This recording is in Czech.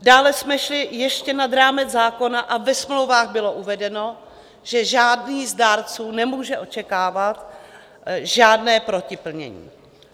Dále jsme šli ještě nad rámec zákona a ve smlouvách bylo uvedeno, že žádný z dárců nemůže očekávat žádné protiplnění.